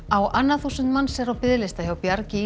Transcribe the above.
á annað þúsund manns er á biðlista hjá Bjargi